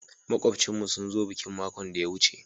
Makubchin mu sun zo bikin makon daya wuce.